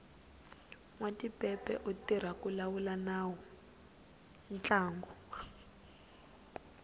nwatipepe u tirha ku lawula ntlangu